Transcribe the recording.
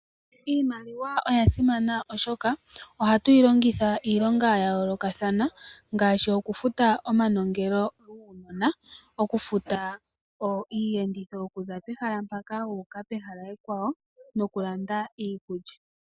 Iimaliwa oya simana oshoka ohatu yi longitha iilonga ya yoolokathana ngaashi okufuta omanongelo guunona, okufuta iiyenditho yokuza pehala mpaka wu uka pehala ekwawo nokulanda iikulya.